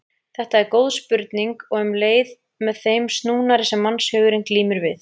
Þetta er góð spurning og um leið með þeim snúnari sem mannshugurinn glímir við.